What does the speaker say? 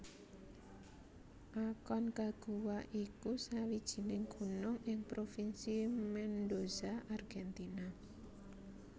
Aconcagua iku sawijining gunung ing Provinsi Mendoza Argentina